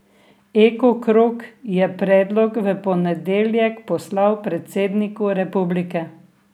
Eko krog je predlog v ponedeljek poslal predsedniku republike.